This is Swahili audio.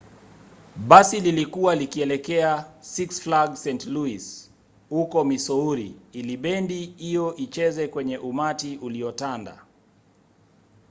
basi lilikuwa likielekea six flags st. louis huko missouri ili bendi hiyo icheze kwenye umati uliotandaa